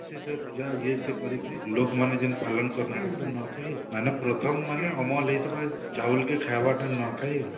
ସେ ସବୁ ପୂଜା ଇଏ ସିଏ କରିକିରି ଲୋଗମାନେ ଯେମତି ପାଲନ ନୂଆଖାଇ ଆଉ ମାନେ ପ୍ରଥମ ମାନେ ଅମଲ ହେଇଥିବା ଚାଉଲ କେ ଖାଇବାଟା ନୂଆଖାଇ ଆଉ